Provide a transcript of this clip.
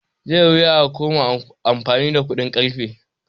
Zai yi wuya a koma amfani da kuɗin ƙarfe